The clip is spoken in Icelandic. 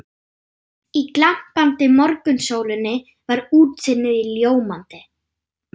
Í glampandi morgunsólinni var útsýnið ljómandi.